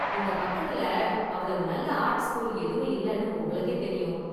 இங்க பக்கத்துல​ அவ்வளவு நல்ல​ ஆர்ட் ஸ்கூல் எதுவும் இல்லைன்னு உங்களுக்கே தெரியும்.